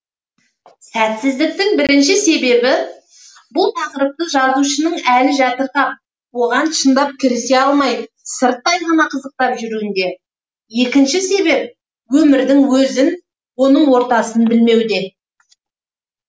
сәтсіздіктің бірінші себебі бұл тақырыпты жазушының әлі жатырқап оған шындап кірісе алмай сырттай ғана қызықтап жүруінде екінші себеп өмірдің өзін оның ортасын білмеуде